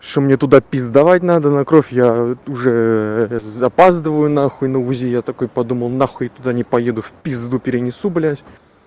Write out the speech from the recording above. что мне туда пиздовать надо на кровь я уже запаздываю на хуй на узи я такой подумал на хуй я туда не поеду в пизду перенесу блядь